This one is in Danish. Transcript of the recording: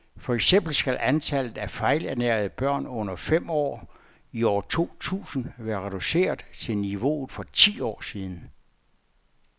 For eksempel skal antallet af fejlernærede børn under fem år i år to tusind være reduceret til niveauet for for ti år siden.